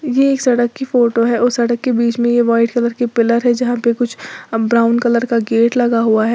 ये एक सड़क की फोटो है उसे सड़क के बीच में यह वाइट कलर की पिलर है जहां पर कुछ ब्राउन कलर का गेट लगा हुआ है।